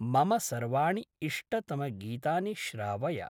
मम सर्वाणि इष्टतमगीतानि श्रावय।